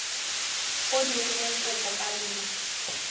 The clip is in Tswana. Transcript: o dirileng kopo ka lona